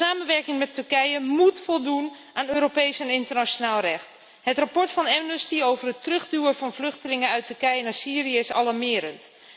De samenwerking met Turkije moet voldoen aan Europees en internationaal recht. Het rapport van Amnesty over het terugduwen van vluchtelingen uit Turkije naar Syrië is alarmerend.